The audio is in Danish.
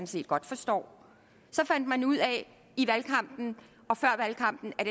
set godt forstår så fandt man ud af i valgkampen og før valgkampen at